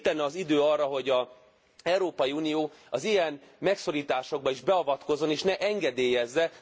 Itt lenne az idő arra, hogy az Európai Unió az ilyen megszorításokba is beavatkozzon és ne engedélyezze.